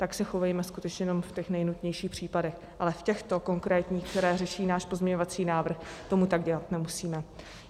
Tak se chovejme skutečně jenom v těch nejnutnějších případech, ale v těchto konkrétních, které řeší náš pozměňovací návrh, to tak dělat nemusíme.